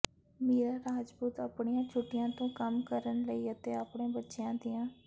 ਮੀਰਾ ਰਾਜਪੂਤ ਆਪਣੀਆਂ ਛੁੱਟੀਆਂ ਤੋਂ ਕੰਮ ਕਰਨ ਲਈ ਅਤੇ ਆਪਣੇ ਬੱਚਿਆਂ ਦੀਆਂ